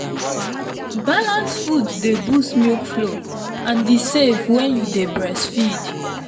balanced food dey boost milk flow and e safe when you dey breastfeed.